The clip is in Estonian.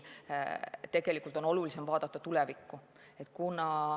Tegelikult on nüüd olulisem vaadata tulevikku.